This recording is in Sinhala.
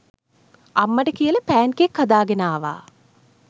අම්මට කියලා පෑන්කේක් හදාගෙන ආවා